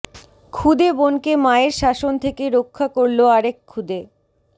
ক্ষুদে বোনকে মায়ের শাসন থেকে রক্ষা করলো আরেক ক্ষুদে